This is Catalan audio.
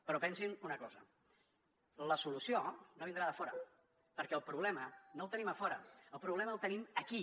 però pensin una cosa la solució no vindrà de fora perquè el problema no el tenim a fora el problema el tenim aquí